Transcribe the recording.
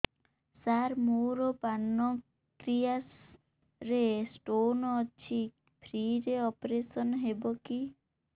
ସାର ମୋର ପାନକ୍ରିଆସ ରେ ସ୍ଟୋନ ଅଛି ଫ୍ରି ରେ ଅପେରସନ ହେବ କି